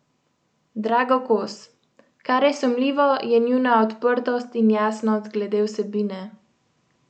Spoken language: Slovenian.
Drago Kos: "Kar je sumljivo, je njuna odprtost in jasnost glede vsebine.